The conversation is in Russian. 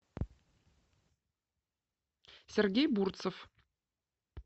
сергей бурцев